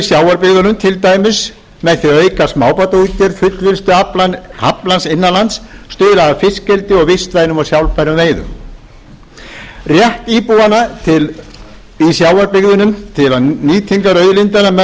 sjávarbyggðunum til dæmis með því að auka smábátaútgerð fullvinnslu aflans innan lands stuðla að fiskeldi og vistvænum og sjálfbærum veiðum rétt íbúanna í sjávarbyggðunum til nýtingar auðlindanna